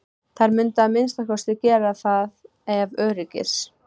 Þær mundu að minnsta kosti gera það ef öryggis